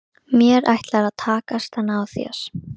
Mér ætlar að takast að ná þér.